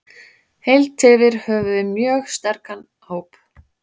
Heilt yfir höfum við mjög sterkan hóp.